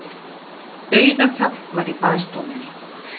Dauðaþögn var í baðstofunni.